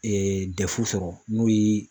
sɔrɔ n'o ye